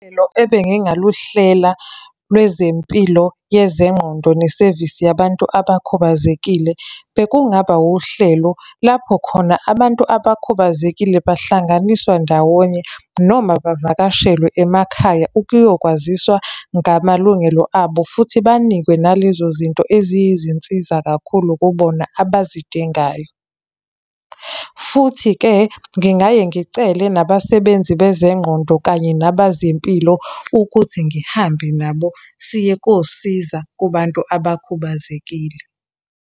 ebengingaluhlela lwezempilo yezenqondo nesevisi yabantu abakhubazekile, bekungaba wuhlelo lapho khona abantu abakhubazekile bahlanganiswa ndawonye noma bavakashelwe emakhaya ukuyokwaziswa ngamalungelo abo, futhi banikwe nalezo zinto eziyizinsiza kakhulu kubona abazidingayo. Futhi-ke ngingaye ngicele nabasebenzi bezengqondo kanye nabazempilo ukuthi ngihambe nabo siye kosiza kubantu abakhubazekile.